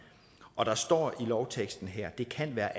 og der står i lovteksten her at det kan være